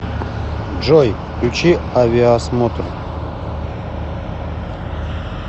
джой включи авиасмотр